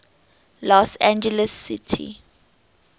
los angeles city